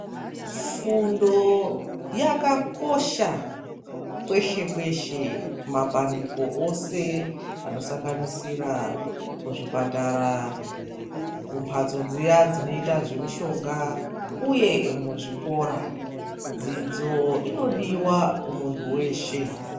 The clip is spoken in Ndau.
Fundo yakakosha kweshe kweshe kumapandiko eshe anosanganisira kuzvipatara, kumbatso dziya dzinoita zvemishonga uye muzvikora. Dzidzo inodiwa kumuntu weshe.